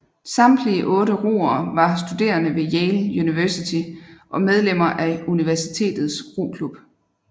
Samtlige otte roere var studerende ved Yale University og medlemmer af universitets roklub